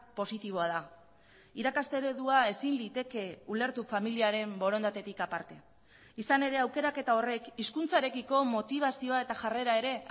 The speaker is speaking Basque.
positiboa da irakaste eredua ezin liteke ulertu familiaren borondatetik aparte izan ere aukeraketa horrek hizkuntzarekiko motibazioa eta jarrera ere